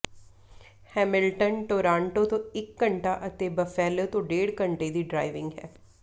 Hamilton Toronto ਤੋਂ ਇੱਕ ਘੰਟਾ ਅਤੇ ਬਫੇਲੋ ਤੋਂ ਡੇਢ ਘੰਟੇ ਦੀ ਡਰਾਇਵਿੰਗ ਹੈ